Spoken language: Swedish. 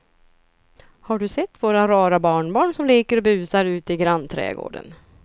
Har du sett våra rara barnbarn som leker och busar ute i grannträdgården!